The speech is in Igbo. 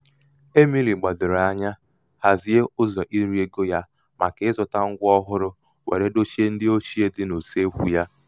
è̀mìli gbàdòrò anya hàzie ụzọ̀ irī egō ya màkà ịzụ̄tā ṅgwa ọhụrụ wère dochie ndị ochie dị n’ùseekwū ya